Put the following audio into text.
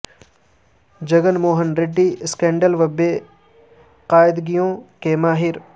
Jagan Mohan Reddy scandal و بے قاعدگیوں کے ماہر